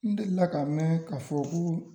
N delila ka mɛn k'a fɔ koo